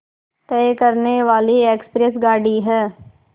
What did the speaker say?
तय करने वाली एक्सप्रेस गाड़ी है